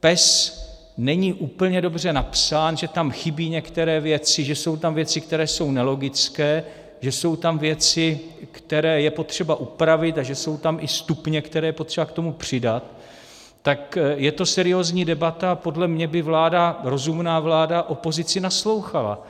PES není úplně dobře napsán, že tam chybí některé věci, že jsou tam věci, které jsou nelogické, že jsou tam věci, které je potřeba upravit, a že jsou tam i stupně, které je potřeba k tomu přidat, tak je to seriózní debata a podle mě by vláda, rozumná vláda opozici naslouchala.